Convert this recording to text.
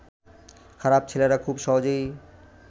খারাপ ছেলেরা খুব সহজেই